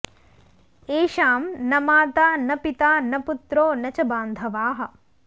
येषां न माता न पिता न पुत्रो न च बान्धवाः